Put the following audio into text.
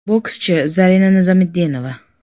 Bokschi Zarina Nizomitdinova.